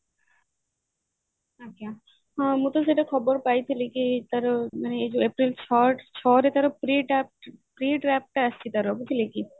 ହଁ ମୁଁ ତ ସେଇଟା ଖବର ପାଇଥିଲି କି ତାର ମାନେ ଏଇ ଏପ୍ରିଲ ଛଅ ରେ ଛଅ ରେ ତାର pre ଟା ଆସିଛି ତାର ବୁଝିଲେ କି